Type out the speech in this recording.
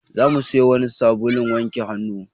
Za mu siyo wani sabulun wanke hannu.